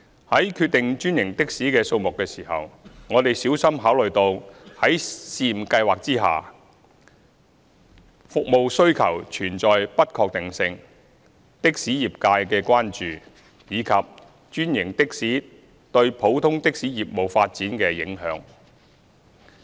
在決定專營的士的數目時，我們小心考慮到在試驗計劃下服務需求存在不確定性、的士業界的關注，以及專營的士對普通的士業務發展的影響。